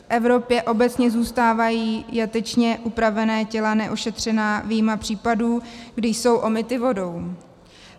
V Evropě obecně zůstávají jatečně upravená těla neošetřena vyjma případů, kdy jsou omyta vodou.